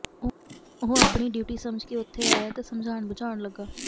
ਉਹ ਆਪਣੀ ਡਿਉਟੀ ਸਮਝ ਕੇ ਉੱਥੇ ਆਇਆ ਤੇ ਸਮਝਾਣ ਬੁਝਾਣ ਲੱਗਾ